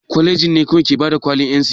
Kwaleji kawai ke bada kwalin NCE?